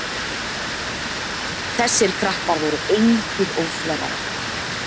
Þessir krakkar voru engir óþverrar.